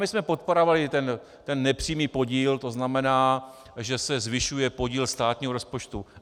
My jsme podporovali ten nepřímý podíl, to znamená, že se zvyšuje podíl státního rozpočtu.